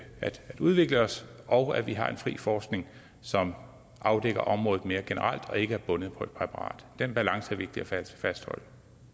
udvikle os og at vi har en fri forskning som afdækker området mere generelt og ikke er bundet op på et præparat den balance er vigtig at fastholde